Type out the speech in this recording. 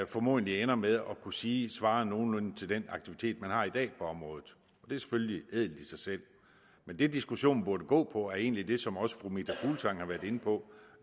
formodentlig ender med at kunne sige svarer nogenlunde til den aktivitet man har i dag på området det er selvfølgelig ædelt i sig selv men det diskussionen burde gå på er egentlig det som også fru meta fuglsang har været inde på